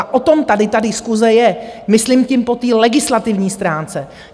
A o tom tady ta diskuse je, myslím tím po té legislativní stránce.